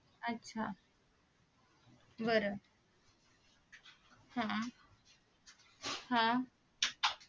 आच्छा बर हा हा